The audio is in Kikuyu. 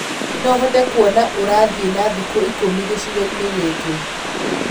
no hote kũona ũrathi wa thĩkũ ĩkũmĩ gĩcĩgoĩni gĩkĩ